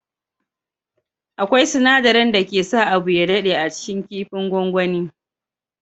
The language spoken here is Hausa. Akwai sinadarin dake sa abu ya dade a cikin kifin gwagwani.